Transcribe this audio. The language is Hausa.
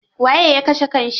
Waye ya kashe kan shi?